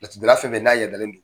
Laturu da la fɛn fɛn n'a yadalen don